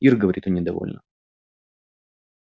ир говорит он недовольно